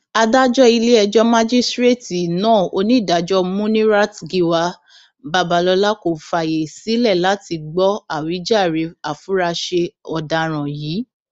adájọ iléẹjọ májísrèétì náà onídàájọ muniratgiwa babalọla kò fààyè sílẹ láti gbọ àwíjàre àfúráṣe ọdaràn yìí